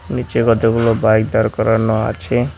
নীচে কতগুলো বাইক দাঁড় করানো আছে।